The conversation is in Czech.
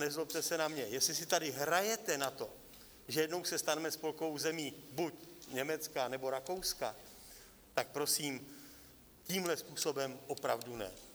Nezlobte se na mě, jestli si tady hrajete na to, že jednou se staneme spolkovou zemí buď Německa, nebo Rakouska, tak prosím, tímhle způsobem opravdu ne.